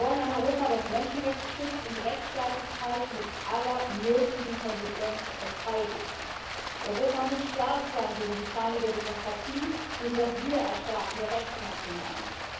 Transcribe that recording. Wir wollen ein Europa, das Menschenrechte schützt und Rechtsstaatlichkeit mit aller nötigen Konsequenz verteidigt. Europa muss stark sein gegen die Feinde der Demokratie, gegen das Wiedererstarken der Rechtsnationalen.